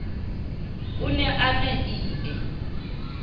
o ne a na ie